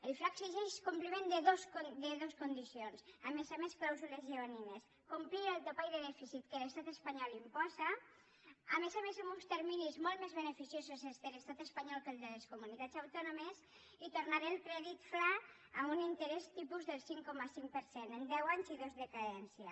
el fla exigeix compliment de dos condicions a més a més clàusules lleonines complir el topall de dèficit que l’estat espanyol imposa a més a més amb uns terminis molt més beneficiosos els de l’estat espanyol que els de les comunitats autònomes i tornar el crèdit fla a un interès tipus del cinc coma cinc per cent en deu anys i dos de carència